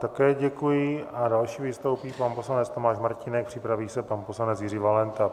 Také děkuji a další vystoupí pan poslanec Tomáš Martínek, připraví se pan poslanec Jiří Valenta.